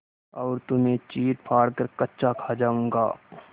और तुम्हें चीरफाड़ कर कच्चा खा जाऊँगा